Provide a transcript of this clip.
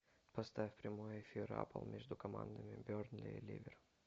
поставь прямой эфир апл между командами бернли и ливер